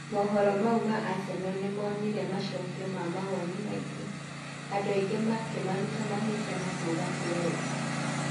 Mohoro mau ma Aseno nĩmonire macokio ma mawoni maingĩ, andũ aingĩ makĩmaruta mahĩtia na kuuga ti wega.